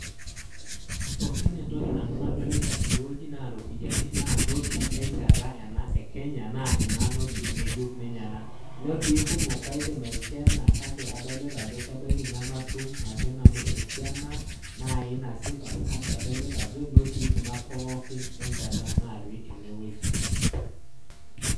Pookin etoki Nanu nadolita tene wueji naa iropiyani naa noti enchata ena, eKenya naa ena noti ngejuk ena. Nitii kumok aidip aikena kake adolita ajo ebaiki nematum ake nanu esiana naai nasipa kake adolita ajo inotii kuna pookin , enchata natii ene wueji.